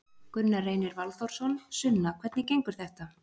Gunnar Reynir Valþórsson: Sunna hvernig gengur þetta?